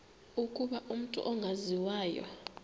ukuba umut ongawazivo